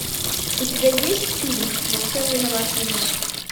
у тебя есть фильм во всем виноват енот